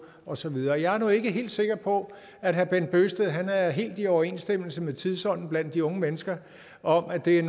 og så videre jeg er nu ikke helt sikker på at herre bent bøgsted er helt i overensstemmelse med tidsånden blandt de unge mennesker om at det er